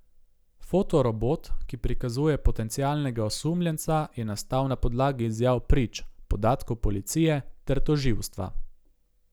Fotorobot, ki prikazuje potencialnega osumljenca, je nastal na podlagi izjav prič, podatkov policije ter tožilstva.